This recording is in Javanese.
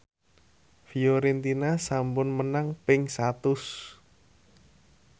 Fiorentina sampun menang ping satus